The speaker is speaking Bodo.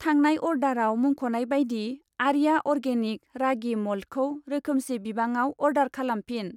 थांनाय अर्डाराव मुंख'नाय बायदि आर्या अर्गेनिक रागि म'ल्टखौ रोखोमसे बिबाङाव अर्डार खालामफिन।